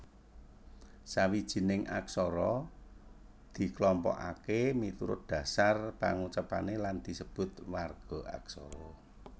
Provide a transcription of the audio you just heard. Sawijining aksara diklompokaké miturut dhasar pangucapané lan disebut warga aksara